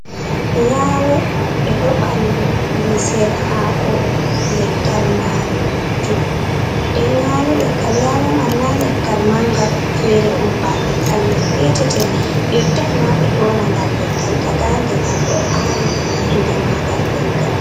Yalo ɓeɗo bandu lisel hako leggal majum, ɗen yalo leggal yalo man na leggal manga fere on ba leggal mai petetel yottai ma be dyona ngal leggal daga nde ngal do awi inde mangal leggal.